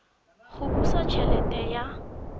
go busa t helete ya